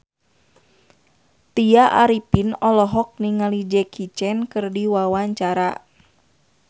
Tya Arifin olohok ningali Jackie Chan keur diwawancara